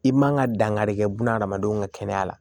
I man ka dankari kɛ buna hadamadenw ka kɛnɛya la